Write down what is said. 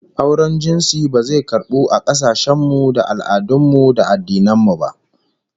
Auren jinsi ba zai karbu a kasashen mu da al'adun mu da addinan mu ba